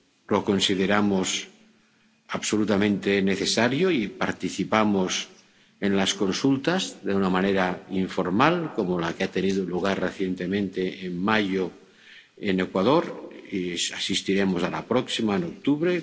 Lo consideramos absolutamente necesario y participamos en las consultas de una manera informal, como la que ha tenido lugar recientemente en mayo en Ecuador, y asistiremos a la próxima en octubre.